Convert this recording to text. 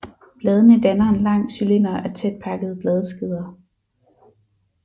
Bladene danner en lang cylinder af tætpakkede bladskeder